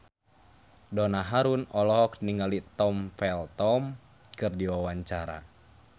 Donna Harun olohok ningali Tom Felton keur diwawancara